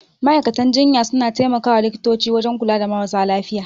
Ma'aikatan jinya suna tai makawa likitoci wajan kula da marasa lafiya